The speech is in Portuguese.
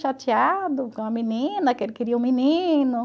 Chateado com a menina, que ele queria um menino.